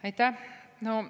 Aitäh!